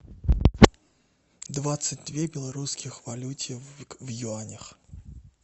двадцать две белорусских валюте в юанях